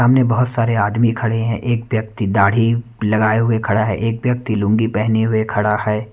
सामने बहुत सारे आदमी खड़े हैं एक व्यक्ति दाढ़ी लगाए हुए खड़ा है एक व्यक्ति लूंगी पहने हुए खड़ा है।